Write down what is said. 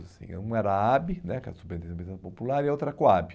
assim um era a né, que era a Superintendência de Habitação Popular, e a outra era a COAB.